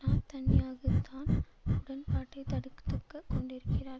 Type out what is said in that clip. நாத்தன்யாகுதான் உடன்பாட்டை தடுக்கத்துக்க கொண்டிருக்கிறார்